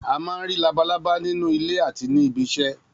A má ń rí labalábá nínú ilé àti ní ibí isẹ́.